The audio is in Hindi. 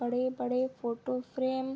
बड़े-बड़े फोटो फ्रेम --